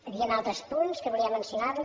hi havien altres punts que volia mencionar li